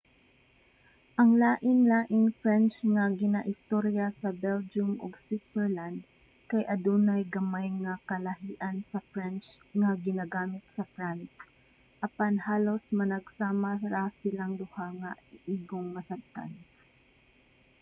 ang lain-laing french nga ginaistorya sa belgium ug switzerland kay adunay gamay nga kalahian sa french nga ginagamit sa france apan halos managsama ra silang duha nga igong masabtan